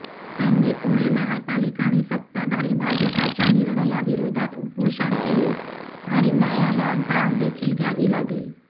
त्यांनी पुणे महापालिका आणि सताधारी भाजपच्या निर्णयाविरोधात उपोषण केले आणि न्यायालयात धाव देखील घ्यावी लागली